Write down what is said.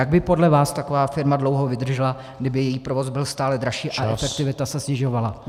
Jak by podle vás taková firma dlouho vydržela, kdyby její provoz byl stále dražší a efektivita se snižovala?